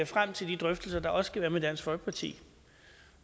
frem til de drøftelser der også skal være med dansk folkeparti